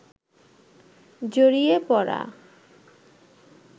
জড়িয়ে পড়া